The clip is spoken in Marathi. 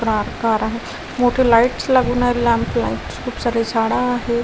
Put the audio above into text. प्राकाराह मोठं लाइट्स लागून आहे लॅम्प लाइट्स खूप सारी झाडं आहे.